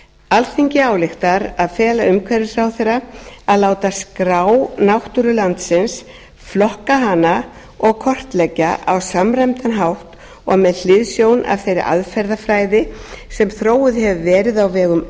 alþingi ályktar að fela umhverfisráðherra að láta skrá náttúru landsins flokka hana og kortleggja á samræmdan hátt og með hliðsjón af þeirri aðferðafræði sem þróuð hefur verið á vegum